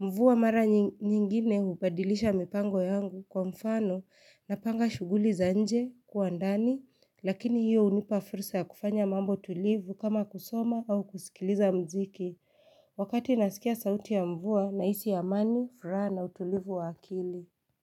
Mvua mara nyingine hubadilisha mipango yangu kwa mfano na panga shughuli za nje kwandani, lakini hiyo hunipa fursaya kufanya mambo tulivu kama kusoma au kusikiliza mziki. Wakati nasikia sauti ya mvua na hisi a mani, furaha na utulivu wa akili.